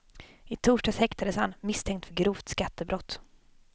I torsdags häktades han misstänkt för grovt skattebrott.